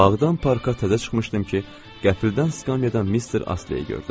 Bağdan parka təzə çıxmışdım ki, qəfildən skamyadan Mister Astleyi gördüm.